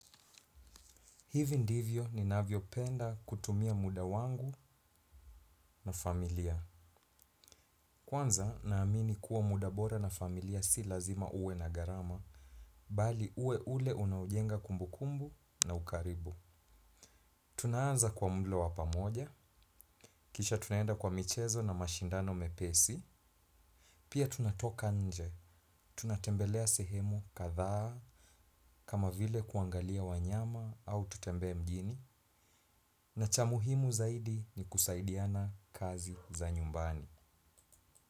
Hivi ndivyo ninavyopenda kutumia muda wangu na familia. Kwanza ninaamini kuwa muda bora na familia si lazima uwe na gharama, bali uwe ule unaojenga kumbukumbu na ukaribu. Tunaanza kwa mlo wa pamoja, kisha tunaenda kwa michezo na mashindano mepesi, pia tunatoka nje, tunatembelea sehemu kadhaa, kama vile kuangalia wanyama au tutembee mjini, na cha muhimu zaidi ni kusaidiana kazi za nyumbani.